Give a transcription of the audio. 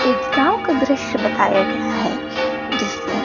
एक गाँव का दृश्य बताया गया है जिसमे--